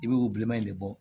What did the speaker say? I bɛ o bilenman in de bɔ